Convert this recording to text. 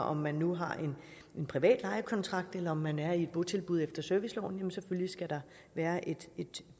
om man nu har en privat lejekontrakt eller om man er i botilbud efter serviceloven sidestiller vi selvfølgelig skal der være et